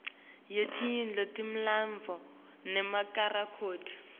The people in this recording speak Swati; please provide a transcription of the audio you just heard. yetindlu temilandvo nemarekhodi